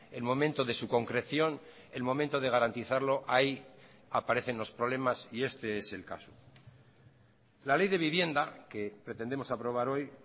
el momento de su concreción el momento de garantizarlo ahí aparecen los problemas y este es el caso la ley de vivienda que pretendemos aprobar hoy